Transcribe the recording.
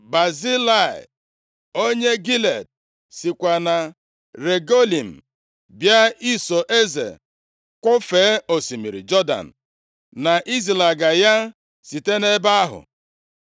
Bazilai onye Gilead + 19:31 \+xt 2Sa 17:27-29; 1Ez 2:7\+xt* sikwa na Rogelim bịa iso eze kwọfee osimiri Jọdan, na izilaga ya site nʼebe ahụ.